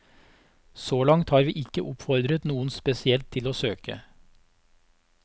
Så langt har vi ikke oppfordret noen spesielt til å søke.